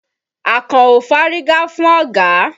Àkànó fárígá fún ọ̀gá.